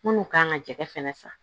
Munnu kan ka jɛgɛ fɛnɛ san